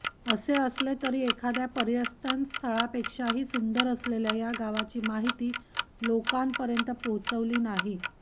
असे असले तरी एखाद्या पर्यटनस्थळापेक्षाही सुंदर असलेल्या या गावाची माहिती लोकांपर्यंत पोहोचली नाही